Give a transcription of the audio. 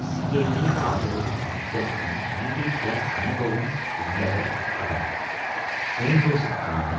CIA ஆதரவு யுத்தத்தின் நீடித்த அனுபவம் உள்ளவர் அவர் ஹெண்டுராஸூக்கான